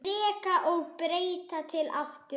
Reka og breyta til aftur?